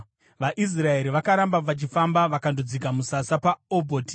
VaIsraeri vakaramba vachifamba vakandodzika musasa paObhoti.